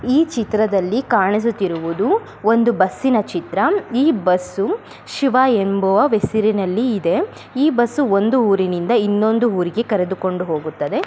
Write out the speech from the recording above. ಈ ಚಿತ್ರದಲ್ಲಿ ಕಾಣಿಸುತ್ತಿರುವುದು ಒಂದು ಬಸ್ಸಿನ ಚಿತ್ರ ಈ ಬಸ್ಸು ಶಿವ ಎಂಬುವ ಹೆಸರಿನಲ್ಲಿ ಇದೆ ಈ ಬಸ್ಸ ಒಂದು ಊರಿನಿಂದ ಇನ್ನೊಂದು ಊರಿಗೆ ಕರೆದುಕೊಂಡು ಹೋಗುತ್ತದೆ.